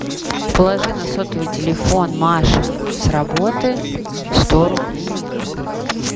положи на сотовый телефон маша с работы сто рублей